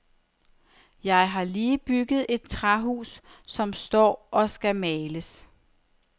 Jeg har lige bygget et træhus, som står og skal males.